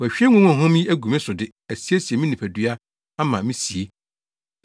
Wahwie ngo huamhuam yi agu me so de asiesie me nipadua ama me sie.